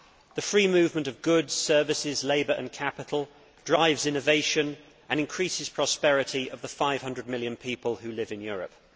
The free movement of goods, services, labour and capital drives innovation and increases the prosperity of the 500 million people who live in Europe.